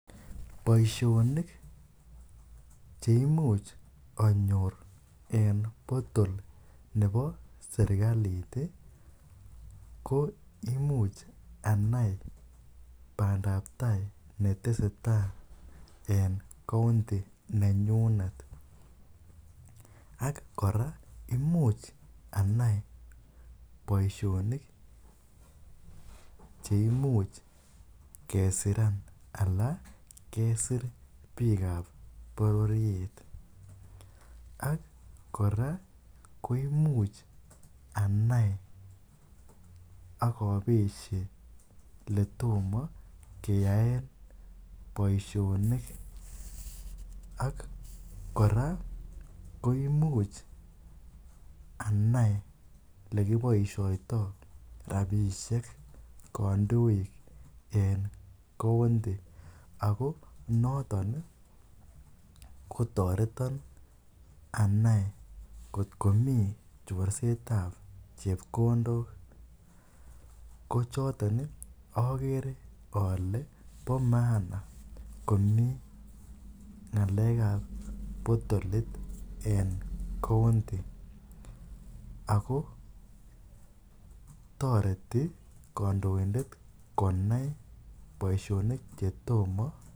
Boishonik cheimuch anyor en potol nebo serikalit ko imuch anai bandab tai netesetai en county nenyunet ak kora imuch anai boishonik cheimuch kesiran alaa kesir biikab bororiet ak kora koimuch anai ak obeshe eletomo keyaen boishonik ak kora koimuch anai elekiboishoitoi rabishek kondoik en county ak ko noton kotoreton anai kot komii chorsetab chepkondok ko choton okere olee bo maana komii ngalekab potolit en county ak ko toreti kondoindet konai boishonik chotomo.